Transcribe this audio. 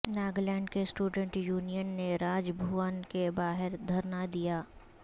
ناگالینڈ کے student union نے راج بھون کے باہر دھرنا دیا